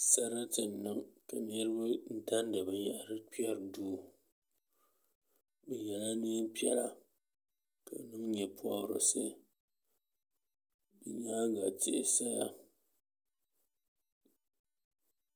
sarati n-niŋ ka niriba dandi binyɛhiri n-kpɛri duu bɛ yela neem' piɛla ka niŋ nyɛpɔbirisi bɛ nyaaŋa tihi saya